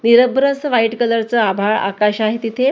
निरभ्र असं white colour चं आभाळ आकाश आहे तिथे--